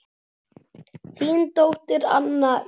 Þín dóttir, Anna Katrín.